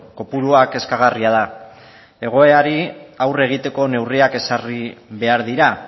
kopurua kezkagarria da egoerari aurre egiteko neurriak ezarri behar dira